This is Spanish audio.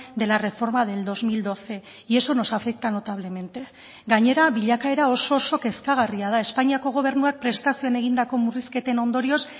de la reforma del dos mil doce y eso nos afecta notablemente gainera bilakaera oso oso kezkagarria da espainiako gobernuak prestazioen egindako murrizketen ondorioz